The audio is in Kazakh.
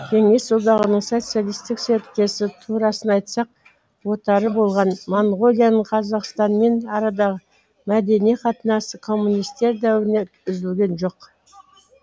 кеңес одағының социалистік серіктесі турасын айтсақ отары болған монғолияның қазақстанмен арадағы мәдени қатынасы коммунистер дәуірінде үзілген жоқ